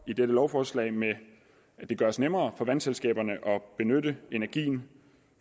dette lovforslag gøres nemmere for vandselskaberne at benytte energien